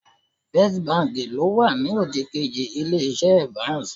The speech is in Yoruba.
Báǹkì àkọ́kọ́ ló wà ní òdìkejì Ilé-iṣẹ́ Evans